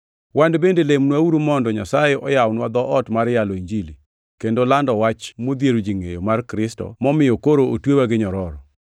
Wan bende lemnwauru mondo Nyasaye oyawnwa dhoot mar yalo Injili, kendo lando wach modhiero ji ngʼeyo mar Kristo momiyo koro otweya gi nyororo.